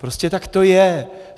Prostě tak to je!